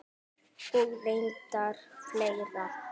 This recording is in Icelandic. Og reyndar fleiri.